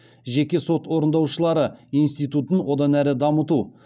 жеке сот орындаушылары институтын одан әрі дамыту